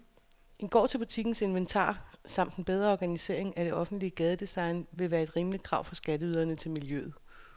En gård til butikkens inventar samt en bedre organisering af det offentlige gadedesign ville være et rimeligt krav fra skatteyderne til miljøet.